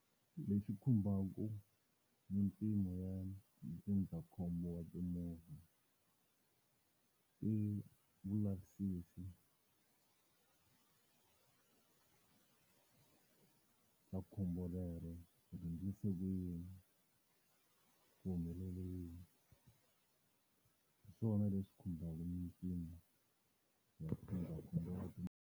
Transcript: Lexi khumbaku mimpimo ya ndzindzakhombo wa timovha i vulavisisi bya khombo lero, ku swiendlise ku yini, ku humeleli yini, hiswona leswi khumbaka mimpimo ya ndzindzakhombo wa timovha.